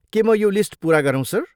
के म यो लिस्ट पुरा गरौँ सर?